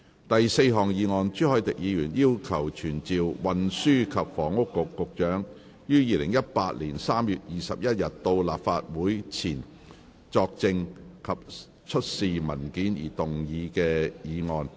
第四項議案：朱凱廸議員要求傳召運輸及房屋局局長於2018年3月21日到立法會席前作證及出示文件而動議的議案。